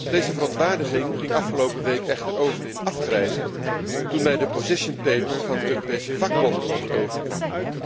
Deze verontwaardiging ging afgelopen week echter over in afgrijzen, toen mij het position paper van de Europese vakbonden onder ogen kwam.